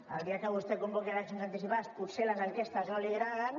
el dia que vostè convoqui eleccions anticipades potser les enquestes no li agraden